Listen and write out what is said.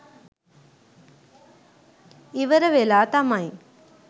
ඉවර වෙලා තමයි